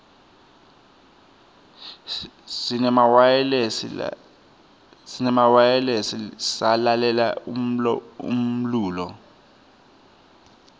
sinemawayilesi salalela umlulo